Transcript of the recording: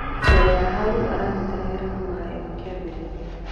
Mbere ya hau aranyitanagĩra na marĩa makiambĩrĩria